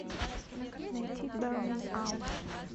найди бернинг аут